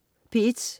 P1: